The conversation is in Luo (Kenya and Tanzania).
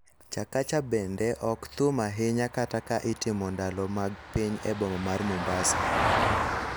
Chakacha bende ok thum ahinya kata ka itimo ndalo mag piny e boma mar Mombasa.